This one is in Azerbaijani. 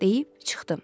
Deyib çıxdım.